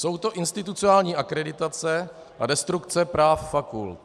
Jsou to institucionální akreditace a destrukce práv fakult.